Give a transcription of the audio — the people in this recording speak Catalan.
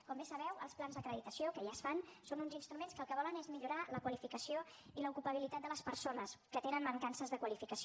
com bé sabeu els plans d’acreditació que ja es fan són uns instruments que el que volen és millorar la qualificació i l’ocupabilitat de les persones que tenen mancances de qualificació